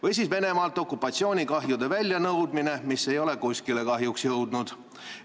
Või siis Venemaalt okupatsioonikahjude väljanõudmine, millega ei ole kahjuks kuskile jõutud.